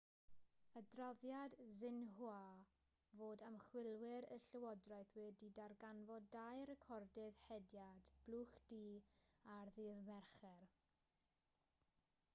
adroddodd xinhua fod ymchwilwyr y llywodraeth wedi darganfod dau recordydd hediad blwch du ar ddydd mercher